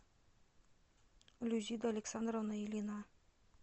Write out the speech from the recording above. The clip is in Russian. люзида александровна ильина